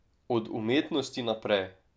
Od umetnosti naprej.